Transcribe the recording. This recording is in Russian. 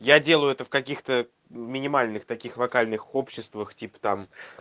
я делаю это в каких-то минимальных таких вокальных обществах типа там